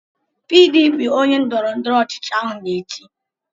"PDP!" Onye ndọrọndọrọ ọchịchị ahụ na-eti.